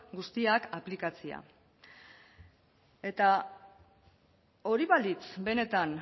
guztiak aplikatzea eta hori balitz benetan